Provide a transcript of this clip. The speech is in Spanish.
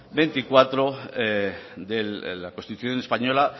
veinticuatro de la constitución española